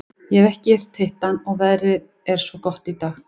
Ég hef ekkert hitt hann og veðrið er svo gott í dag.